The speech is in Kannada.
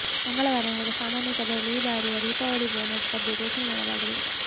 ಮಂಗಳವಾರ ನಡೆದ ಸಾಮಾನ್ಯ ಸಭೆಯಲ್ಲಿ ಈ ಬಾರಿಯ ದೀಪಾವಳಿ ಬೋನಸ್ ಬಗ್ಗೆ ಘೋಷಣೆ ಮಾಡಲಾಗಿದೆ